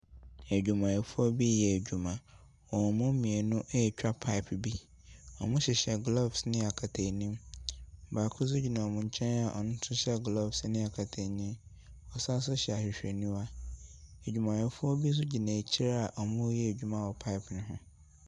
Adwumayɛfoɔ bi reyɛ adwuma. Wɔn mu mmienu retwa pipe bi. Wɔhyehyɛ gloves ne nkataanim. Baako nso gyina wɔn nkyɛn a ɔno nso hyɛ gloves ne nkataanim, ɔsan nso hyɛ ahwehwɛniwa. Adwumayɛfoɔ binom nso gyina akyire a wɔreyɛ adwuma wɔ pipe no ho.